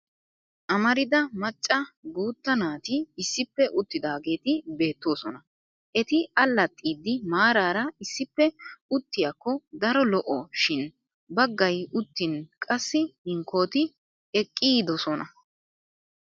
Amarida macca guutta naati issippe uttidaageeti beettoosona. Eti allaxxiiddi maraara issippe uttiyakko daro lo''o shin baggay uttin qassi hinkkooti eqqididosona.